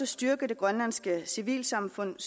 styrke det grønlandske civilsamfund